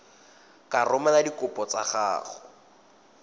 ka romela dikopo tsa gago